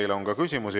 Teile on ka küsimusi.